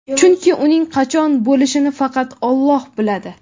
chunki uning qachon bo‘lishini faqat Alloh biladi.